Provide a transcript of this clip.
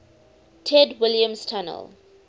ted williams tunnel